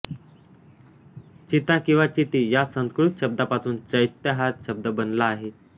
चिता किंवा चिती या संस्कृत शब्दापासून चैत्य हा शब्द बनला आहे